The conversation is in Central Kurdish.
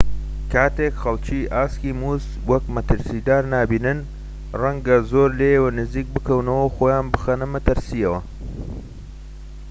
کاتێک خەڵکی ئاسکی مووس وەک مەترسیدار نابینن ڕەنگە زۆر لێیەوە نزیک بکەونەوە و خۆیان بخەنە مەترسیەوە